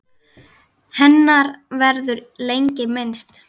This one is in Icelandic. Hennar verður lengi minnst.